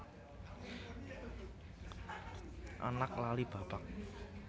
Anak lali bapak